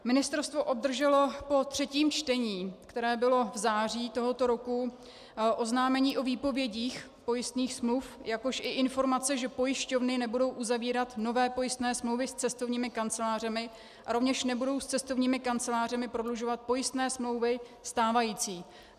Ministerstvo obdrželo po třetím čtení, které bylo v září tohoto roku, oznámení o výpovědích pojistných smluv, jakož i informace, že pojišťovny nebudou uzavírat nové pojistné smlouvy s cestovními kancelářemi a rovněž nebudou s cestovními kancelářemi prodlužovat pojistné smlouvy stávající.